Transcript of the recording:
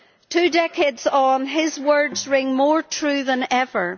Two decades on, his words ring more true than ever.